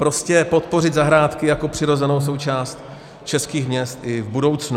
Prostě podpořit zahrádky jako přirozenou součást českých měst i v budoucnu.